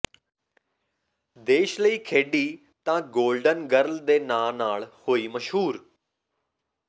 ਦੇਸ਼ ਲਈ ਖੇਡੀ ਤਾਂ ਗੋਲਡਨ ਗਰਲ ਦੇ ਨਾਂ ਨਾਲ ਹੋਈ ਮਸ਼ਹੂਰ